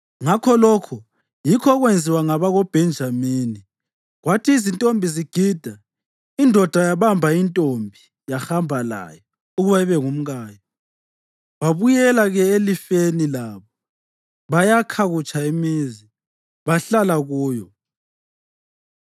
Ngakho lokho yikho okwenziwa ngabakoBhenjamini. Kwathi izintombi zigida, indoda yabamba intombi yahamba layo ukuba ibe ngumkayo. Babuyela-ke elifeni labo bayakha kutsha imizi, bahlala kuyo.